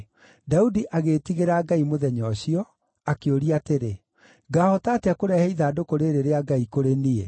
Daudi agĩĩtigĩra Ngai mũthenya ũcio, akĩũria atĩrĩ, “Ngaahota atĩa kũrehe ithandũkũ rĩĩrĩ rĩa Ngai kũrĩ niĩ?”